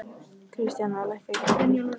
Kristíana, lækkaðu í græjunum.